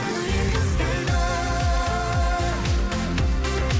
жүрек іздейді